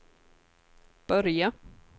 börja